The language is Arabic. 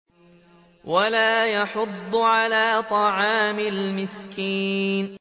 وَلَا يَحُضُّ عَلَىٰ طَعَامِ الْمِسْكِينِ